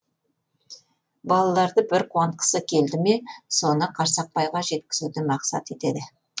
балаларды бір қуантқысы келді ме соны қарсақбайға жеткізуді мақсат етеді